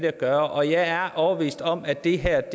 at gøre og jeg er overbevist om at det her